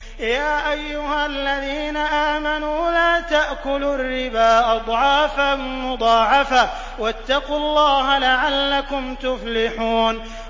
يَا أَيُّهَا الَّذِينَ آمَنُوا لَا تَأْكُلُوا الرِّبَا أَضْعَافًا مُّضَاعَفَةً ۖ وَاتَّقُوا اللَّهَ لَعَلَّكُمْ تُفْلِحُونَ